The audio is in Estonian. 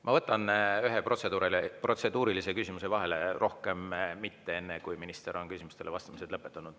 Ma võtan ühe protseduurilise küsimuse vahele, rohkem mitte, enne kui minister on küsimustele vastamise lõpetanud.